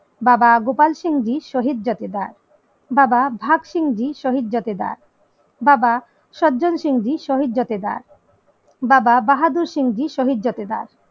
বাবা গোপাল সিং জি শহীদ জোঠেদার বাবা ভাগ সিং জী শহীদ জোঠেদার বাবা সজ্জেন সিং জী শহীদ জোঠেদার বাবা বাহাদুর সিং জী শহীদ জোবেদার